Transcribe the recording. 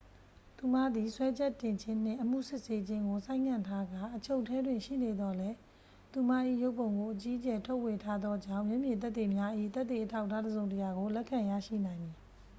သူမသည် စွဲချက်တင်ခြင်းနှင့် အမှုစစ်ဆေးခြင်းကို ဆိုင်းငံ့ထားကာ အချုပ်ထဲတွင် ရှိနေသော်လည်း သူမ၏ရုပ်ပုံကို အကြီးအကျယ် ထုတ်ဝေထားသောကြောင့် မျက်မြင်သက်သေများ၏ သက်သေအထောက်အထားတစ်စုံတစ်ရာကို လက်ခံရရှိနိုင်မည်